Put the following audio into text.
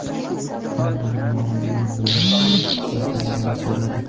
Undan muammo nimadaligini so‘radim.